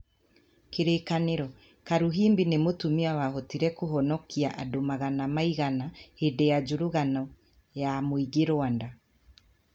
Kĩririkano: Karuhimbi nĩ mũtumia wahotire kũhonokia andũ magana maigana hĩndĩ ya njũragano ya mũingĩ Rwanda.